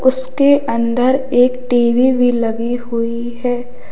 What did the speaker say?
उसके अंदर एक टी_वी भी लगी हुई है।